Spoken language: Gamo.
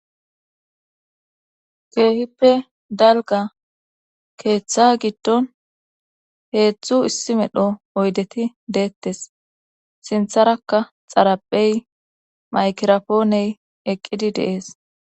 keehippe dalga keeththa giddon heedzdzu issi medho oydeti deettes sintharakka xarapey maykirapooney eqqidi de'ees